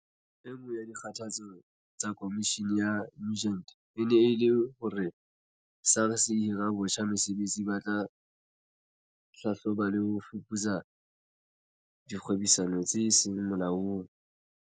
E nngwe ya dikgothaletso tsa Komishini ya Nugent e ne e le hore SARS e hire botjha basebetsi ba tla hlahloba le ho fuputsa dikgwebisano tse seng molaong.